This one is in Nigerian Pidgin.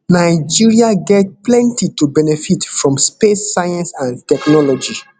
nigeria get plenty to benefit from space science and technology